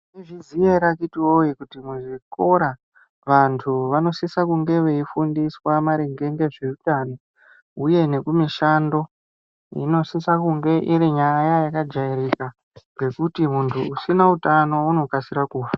Maizviziya here akiti woye kuti muzvikora vantu vanosisa kunge veifundiswa maringe ngezveutano uye ngekumishando zvinosisa kunge irinyaya yakajairika ngekuti munhu asina utano anofa .